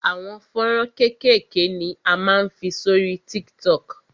Àwọn fọ́nrán kékèké ni a máa ń fi sórí TikTok.